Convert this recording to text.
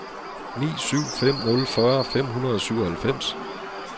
ni syv fem nul fyrre fem hundrede og syvoghalvfems